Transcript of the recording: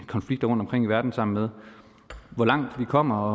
konflikter rundtomkring i verden sammen med hvor langt vi kommer og